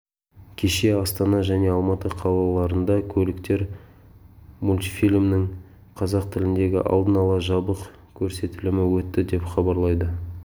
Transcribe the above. кеше астана және алматы қалаларында көліктер мультфильмінің қазақ тіліндегі алдын ала жабық көрсетілімі өтті деп хабарлайды